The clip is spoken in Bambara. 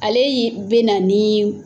Ale ye bɛna nin